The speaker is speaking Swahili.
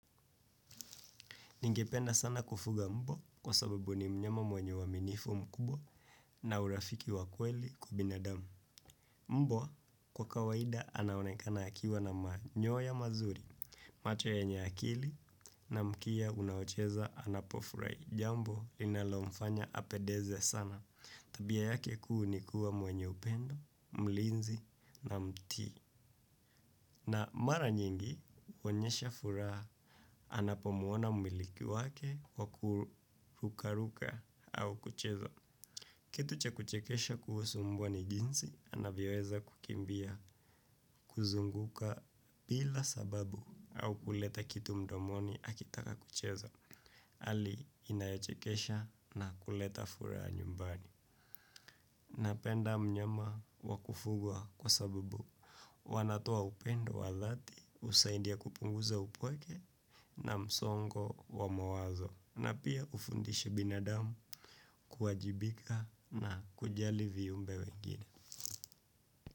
Ningependa sana kufuga mbwa kwa sababu ni mnyama mwenye uaminifu mkubwa na urafiki wa kweli kwa binadamu. Mbwa kwa kawaida anaonekana akiwa na manyoya mazuri, macho yenye akili na mkia unaocheza anapofurai. Jambo linalomfanya apedeze sana tabia yake kuu ni kuwa mwenye upendo, mlinzi na mti. Na mara nyingi uonyesha furaha anapomuona mmiliki wake kwa kuruka-ruka au kucheza. Kitu cha kuchekesha kuhusu mbwa ni jinsi anavyoweza kukimbia kuzunguka bila sababu au kuleta kitu mdomoni akitaka kucheza ali inayechekesha na kuleta furaha nyumbani. Napenda mnyama wa kufugwa kwa sababu wanatoa upendo wa dhati usaidia kupunguza upweke na msongo wa mawazo na pia ufundishi binadamu kuajibika na kujali viumbe wengine.